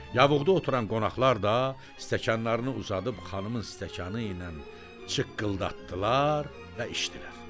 Yavuqda oturan qonaqlar da stəkanlarını uzadıb xanımın stəkanı ilə çıqqıldatdılar və içdilər.